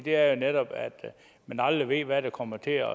er jo netop at man aldrig ved hvad der kommer til